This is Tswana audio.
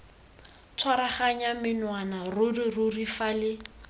tshwaraganya menwana ruri ruri fale